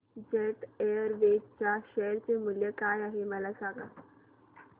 jet Airways च्या share चे मूल्य काय आहे मला सांगा